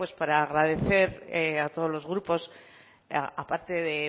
pues para agradecer a todos los grupos aparte de